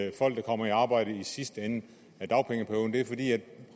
af folk der kommer i arbejde i sidste ende af dagpengeperioden det er fordi